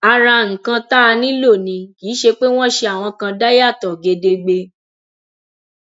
ara nǹkan tá a nílò ni kì í ṣe pé wọn ṣe àwọn kan dà yàtọ gedegbe